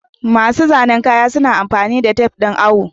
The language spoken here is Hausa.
Masu zanen kaya suna amfani da tafe ɗin awo.